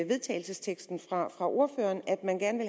vedtagelse fra ordføreren at man gerne